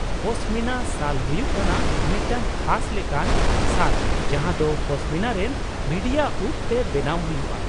ᱯᱚᱥᱢᱤᱱᱟ ᱥᱟᱞ ᱦᱩᱭᱩᱜ ᱠᱟᱱᱟ ᱢᱤᱫᱴᱟᱝ ᱠᱷᱟᱥ ᱞᱮᱠᱟᱱ ᱥᱟᱞ ᱡᱟᱦᱟᱸ ᱫᱚ ᱯᱚᱥᱢᱤᱱᱟ ᱨᱮᱱ ᱵᱷᱤᱰᱤᱭᱟᱜ ᱩᱯ ᱛᱮ ᱵᱮᱱᱟᱣ ᱦᱩᱭᱩᱜᱼᱟ ᱾